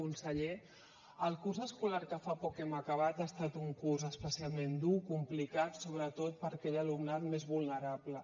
conseller el curs escolar que fa poc hem acabat ha estat un curs especialment dur complicat sobretot per a aquell alumnat més vulnerable